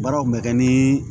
Baaraw bɛ kɛ ni